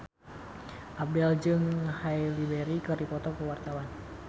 Abdel jeung Halle Berry keur dipoto ku wartawan